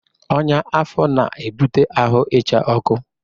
Ọnya afọ na-ebute ahụ ịcha ọkụ.